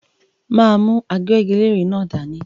M á mú agbẹ́giléèrè náà dání.